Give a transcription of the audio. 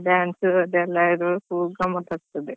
ಹೌದು.